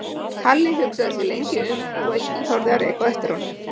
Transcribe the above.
Halli hugsaði sig lengi um og enginn þorði að reka á eftir honum.